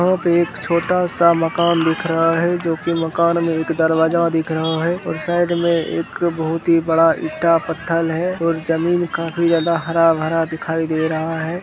यहाँ पे एक छोटा सा मकान दिख रहा है जो की मकान में एक दरवाजा दिख रहा है और साइड में एक बहुत ही बड़ा ईटा पत्थर है और जमीन काफी ज्यादा हरा-भरा दिखाई दे रहा है।